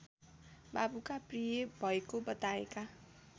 बाबुका प्रिय भएको बताएका